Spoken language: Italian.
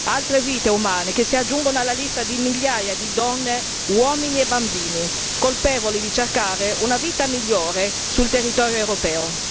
Altre vite umane che si aggiungono alla lista di migliaia di donne, uomini e bambini, colpevoli di cercare una vita migliore sul territorio europeo.